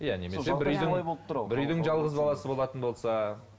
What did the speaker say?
иә немесе бір үйдің бір үйдің жалғыз баласы болатын болса